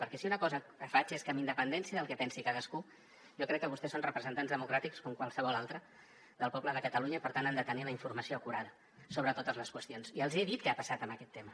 perquè si una cosa faig és que amb independència del que pensi cadascú jo crec que vostès són representants democràtics com qualsevol altre del poble de catalunya i per tant han de tenir la informació acurada sobre totes les qüestions i els hi he dit què ha passat amb aquest tema